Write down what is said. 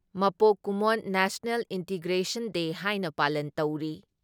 ꯃꯄꯣꯛ ꯀꯨꯝꯑꯣꯟ national integration day ꯍꯥꯏꯅ ꯄꯥꯂꯟ ꯇꯧꯔꯤ ꯫